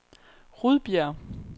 Rudbjerg